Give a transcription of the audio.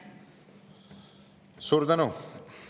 Suur tänu!